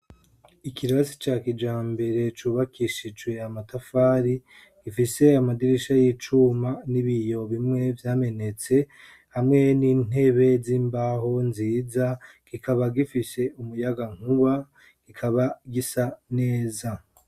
Ikirasi ca kijambere cubakishijwe amatafari, gifise amadirisha y'icuma n'ibiyo bimwe vyamenetse, hamwe n'intebe z'imbaho nziza, kikaba gifise umuyagankuba, kikaba gisa neza.